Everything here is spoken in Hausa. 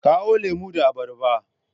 Kawo lemu da abarba.